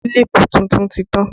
Kílípù tuntun ti tán